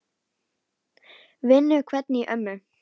Vinnu hvein í ömmu.